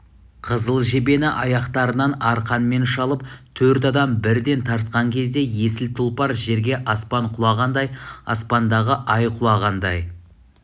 қызыл жебені аяқтарынан арқанмен шалып төрт адам бірден тартқан кезде есіл тұлпар жерге аспан құлағандай аспандағы ай құлағандай